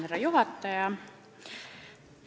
Härra juhataja!